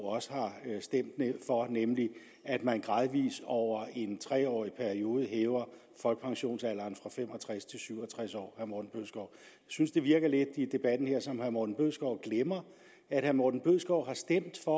også har stemt for nemlig at man gradvis over en tre årig periode hæver folkepensionsalderen fra fem og tres til syv og tres år jeg synes det virker lidt i debatten her som om herre morten bødskov glemmer at herre morten bødskov har stemt for